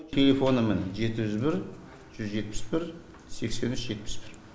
телефоны міне жеті жүз бір жүз жетпіс бір сексен үш жетпіс бір